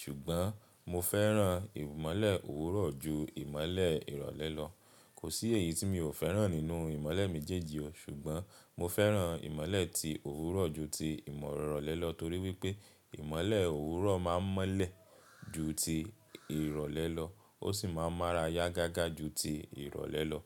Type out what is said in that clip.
ṣùgbọ́n mo fẹ́ràn ìmọ́lẹ̀ òwúrọ̀ ju ìmọ́lẹ̀ ìrọ̀lẹ́ lọ. Kò sí èyí tí mi ò fẹ́ràn nínú imọ́lẹ̀ méjèèjì o ṣùgbọ́n mo fẹ́ràn imọ́lẹ̀ ti òwúrọ̀ ju ti ìrọ̀lẹ́ lọ torí wípé imọ́lẹ̀ òwúrọ̀ máa ń mọ́lẹ̀ ju ti ìrọ̀lẹ́ lọ ó sì máa ń mára yá gágá ju ti ìrọ̀lẹ́ lọ.